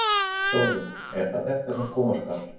Sólveig: Er það þetta sem koma skal?